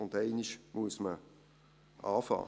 Und einmal muss man beginnen.